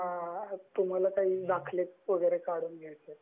तुम्हाला काही दाखले वगैरे काढून घ्यायचं आहे